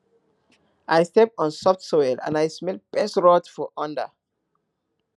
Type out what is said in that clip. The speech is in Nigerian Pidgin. i step on soft soil and i smell pest rot for under